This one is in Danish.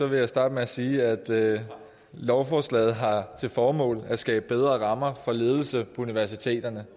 vil jeg starte med at sige at lovforslaget har til formål at skabe bedre rammer for ledelse universiteterne